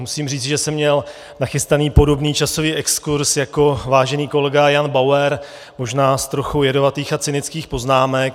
Musím říct, že jsem měl nachystaný podobný časový exkurz jako vážený kolega Jan Bauer, možná s trochou jedovatých a cynických poznámek.